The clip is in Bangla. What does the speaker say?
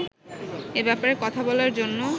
এ ব্যাপারে কথা বলার জন্য